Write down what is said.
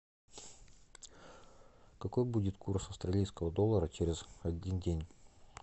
какой будет курс австралийского доллара через один день